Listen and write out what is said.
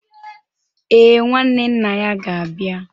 Ee, Nwanne nna ya ga-abịa